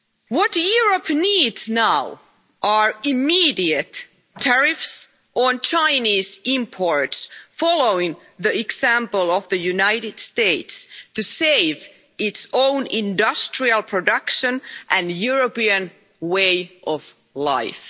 What Europe needs now is immediate tariffs on Chinese imports, following the example of the United States, to save its own industrial production and European way of life.